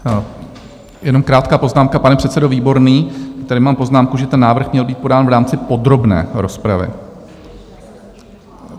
Jenom krátká poznámka - pane předsedo Výborný, tady mám poznámku, že ten návrh měl být podán v rámci podrobné rozpravy.